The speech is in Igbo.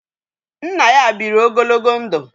Nna ya bịịri ogologo ndụ.